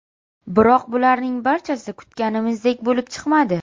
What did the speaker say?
Biroq bularning barchasi kutganimizdek bo‘lib chiqmadi.